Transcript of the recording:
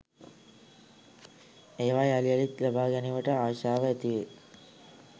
ඒවා යළි යළිත් ලබා ගැනීමට ආශාව ඇතිවෙයි.